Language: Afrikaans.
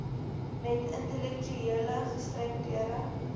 met intellektuele gestremdhede